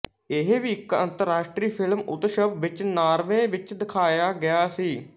ਇਹ ਵੀ ਇੱਕ ਅੰਤਰਰਾਸ਼ਟਰੀ ਫਿਲਮ ਉਤਸਵ ਵਿੱਚ ਨਾਰਵੇ ਵਿੱਚ ਦਿਖਾਇਆ ਗਿਆ ਸੀ